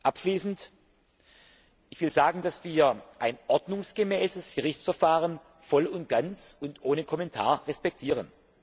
Abschließend möchte ich sagen, dass wir ein ordnungsgemäßes Gerichtsverfahren voll und ganz und ohne Kommentar respektieren.